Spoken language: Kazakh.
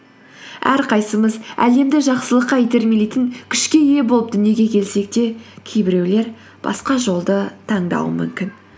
әрқайсымыз әлемді жақсылыққа итермелейтін күшке ие болып дүниеге келсек те кейбіреулер басқа жолды таңдауы мүмкін